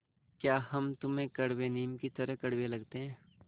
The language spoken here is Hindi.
या हम तुम्हें कड़वे नीम की तरह कड़वे लगते हैं